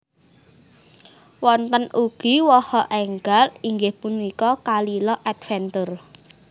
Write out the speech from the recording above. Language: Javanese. Wonten ugi waha enggal inggih punika Kalila Adventure